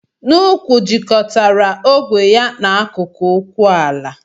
N'úkwù jikọtara ogwe ya na akụkụ ụkwụ ala.